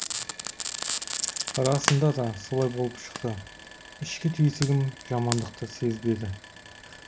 расында да солай болып шықты ішкі түйсігім жамандықты сезбеді